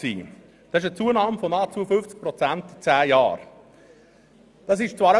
Das ist eine Zunahme von nahezu 50 Prozent innerhalb von zehn Jahren.